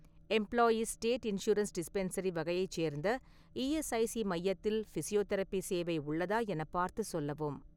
Employees state insurance dispensary வகையைச் சேர்ந்த ESIC மையத்தில் ஃபிசியோதெரபி சேவை உள்ளதா எனப் பார்த்துச் சொல்லவும்.